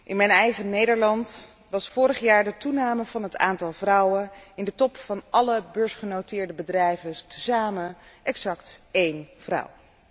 In mijn eigen Nederland was vorig jaar de toename van het aantal vrouwen in de top van alle beursgenoteerde bedrijven tezamen, exact één vrouw.